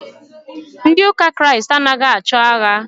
Ndị ụka Kristi anaghị achọ agha.